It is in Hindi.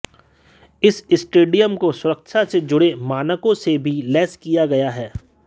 इस स्टेडियम को सुरक्षा से जुड़े मानकों से भी लैस किया गया है